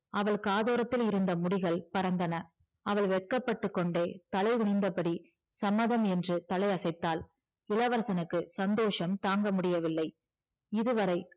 அவள் காதோரத்தில் இருந்த முடிகள் பறந்தன அவள் வெட்கப்பட்டுக்கொண்டே தலைகுனிந்தபடி சம்மதம் என்று தலையசைத்தாள் இளவரசனுக்கு சந்தோசம் தாங்க முடியவில்லை இதுவரை